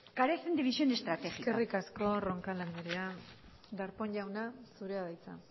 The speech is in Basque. carecen de visión estratégicas eskerrik asko roncal andrea darpón jauna zurea da hitza